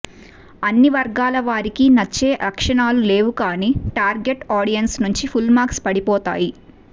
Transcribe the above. అన్ని వర్గాల వారికీ నచ్చే లక్షణాలు లేవు కానీ టార్గెట్ ఆడియన్స్ నుంచి ఫుల్ మార్క్స్ పడిపోతాయి